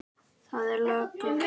Það er logn.